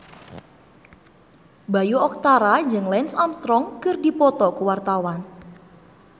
Bayu Octara jeung Lance Armstrong keur dipoto ku wartawan